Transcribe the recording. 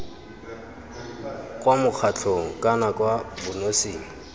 kwa mokgatlhong kana kwa bonosing